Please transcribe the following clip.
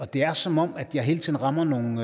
det er som om jeg hele tiden rammer nogle